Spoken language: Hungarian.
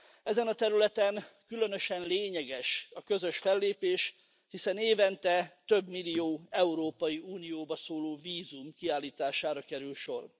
Ezen a területen különösen lényeges a közös fellépés, hiszen évente több millió Európai Unióba szóló vízum kiállítására kerül sor.